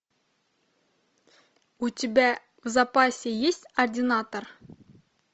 у тебя в запасе есть ординатор